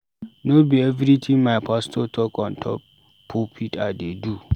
No be everytin my pastor talk on top pulpit I dey do.